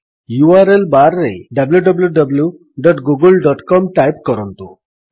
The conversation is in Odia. ୟୁଆରଏଲ୍ ବାର୍ ରେ wwwgooglecom ଟାଇପ୍ କରନ୍ତୁ